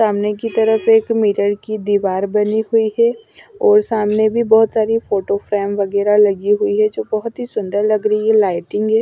सामने की तरफ एक मिरर की दीवार बनी हुई है और सामने भी बहुत सारी फोटो फ्रेम वगैरह लगी हुई है जो बहुत ही सुंदर लग रही है लाइटिंग है।